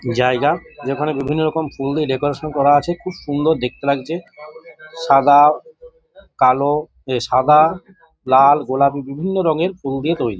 জায়গা যেখানে বিভিন্ন রকম ফুল দিয়ে ডেকোরেশন করা আছে খুব সুন্দর দেখতে লাগছে। সাদা কালো এ সাদা লাল গোলাপি বিভিন্ন রংয়ের ফুল দিয়ে তৈরি।